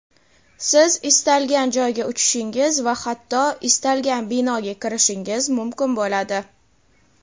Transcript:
siz istalgan joyga uchishingiz va hatto istalgan binoga kirishingiz mumkin bo‘ladi.